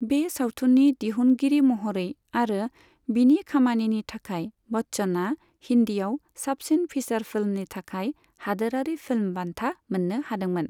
बे सावथुननि दिहुनगिरि महरै आरो बिनि खामानिनि थाखाय, बच्चनआ हिन्दीआव साबसिन फीचार फिल्मनि थाखाय हादोरारि फिल्म बान्था मोन्नो हादोंमोन।